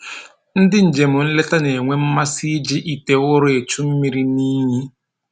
Ndị njem nleta na-enwe mmasị iji ite ụrọ echu mmiri n'iyi